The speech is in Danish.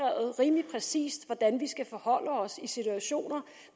rimelig præcist foreskrevet hvordan vi skal forholde os i de situationer